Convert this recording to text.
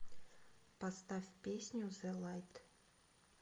поставь песню зе лайт